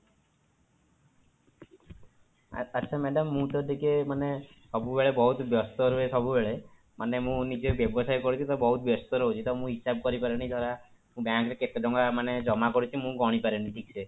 ଆଚ୍ଛା madam ମୁଁ ତ ଟିକେ ମାନେ ସବୁବେଳେ ବହୁତ ବ୍ୟସ୍ତ ରୁହେ ସବୁବେଳେ ମାନେ ମୁଁ ନିଜେ ବ୍ୟବସାୟ କରୁଛି ତ ବହୁତ ବ୍ୟସ୍ତ ରହୁଛି ତ ମୁଁ ହିସାବ କରିପାରେନି ଧର bank ରେ କେତେ ଟଙ୍କା ମାନେ ଜମା କରିଛି ମୁଁ ଗଣିପାରେନି ଠିକ ସେ